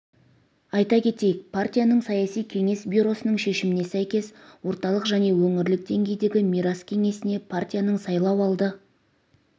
айта кетейік партияның саяси кеңес бюросының шешіміне сәйкес орталық және өңірлік деңгейдегі мирас кеңесіне партияның сайлауалды